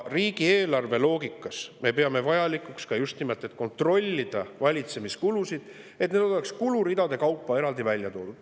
Riigieelarve loogikas me peame vajalikuks just nimelt kontrollida valitsemiskulusid, et need oleks kuluridade kaupa eraldi välja toodud.